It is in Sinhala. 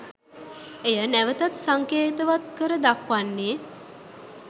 එය නැවතත් සංකේතවත් කර දක්වන්නේ